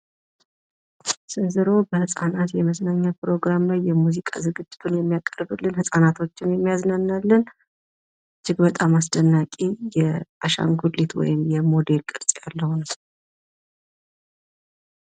ስንዝሮ በህጻናት መዝናኛ ፕሮግራም ላይ የሙዚቃ ዝግጅቱን የሚያቀርብልን ፣ ህጻናቶችን የሚያዝናናልን እጅግ በጣም አስደናቂ የአሻንጉሊት ወይም የሞዴል ቅርጽ ያለው